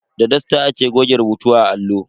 Da dusta ake goge rubutu a allo.